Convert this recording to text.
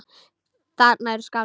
Þarna eru skáld.